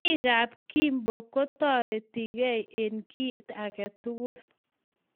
Biik ab Kimbo ko toretekei eng kiit agetugul.